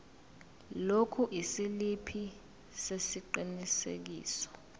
lokhu isiliphi sesiqinisekiso